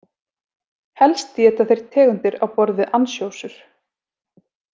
Helst éta þeir tegundir á borð við ansjósur.